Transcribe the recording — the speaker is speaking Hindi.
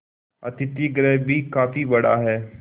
अतिथिगृह भी काफी बड़ा